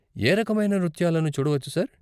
ఏ రకమైన నృత్యాలను చూడవచ్చు, సార్?